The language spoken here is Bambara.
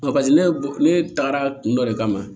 paseke ne bɔ ne tagara kun dɔ de kama